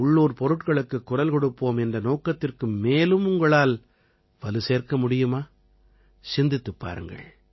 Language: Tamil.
உள்ளூர்ப் பொருட்களுக்குக் குரல் கொடுப்போம் என்ற நோக்கத்திற்கு மேலும் உங்களால் வலு சேர்க்க முடியுமா சிந்தித்துப் பாருங்கள்